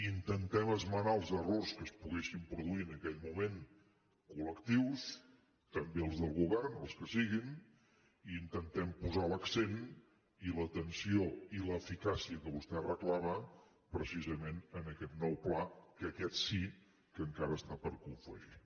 intentem esmenar els errors que es poguessin produir en aquell moment col·lectius també els del govern els que siguin i intentem posar l’accent i l’atenció i l’eficàcia que vostè reclama precisament en aquest nou pla que aquest sí que encara està per confegir